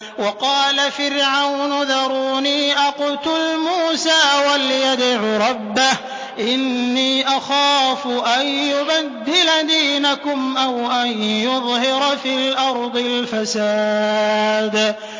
وَقَالَ فِرْعَوْنُ ذَرُونِي أَقْتُلْ مُوسَىٰ وَلْيَدْعُ رَبَّهُ ۖ إِنِّي أَخَافُ أَن يُبَدِّلَ دِينَكُمْ أَوْ أَن يُظْهِرَ فِي الْأَرْضِ الْفَسَادَ